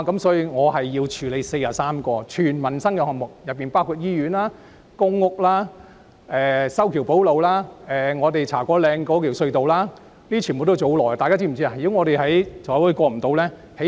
所以，我需要處理43項全部關乎民生的項目，當中包括醫院、公屋、修橋補路和茶果嶺隧道等，全部都是很花時間的項目。